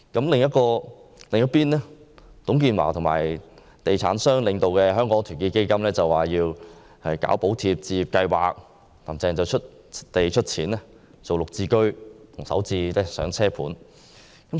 另一邊廂，由董建華和地產商領導的團結香港基金倡議實施"補貼置業計劃"，"林鄭"遂出地出錢推出"綠置居"和"首置上車盤"。